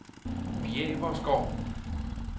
Bjæverskov